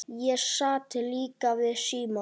Ég sat líka við símann.